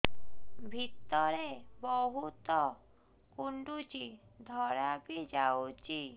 ଭିତରେ ବହୁତ କୁଣ୍ଡୁଚି ଧଳା ବି ଯାଉଛି